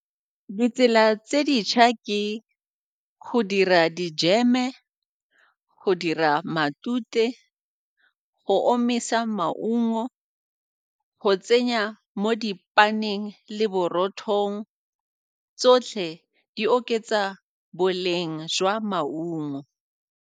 Ditsela tse dintšha ke go dira dijeme, go dira matute, go omisa maungo, go tsenya mo dipaneng le borothong, tsotlhe di oketsa boleng jwa maungo.